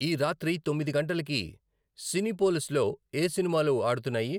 ఈ రాత్రి తొమ్మిది గంటలకి సినిపోలిస్లో ఏ సినిమాలు ఆడుతున్నాయి?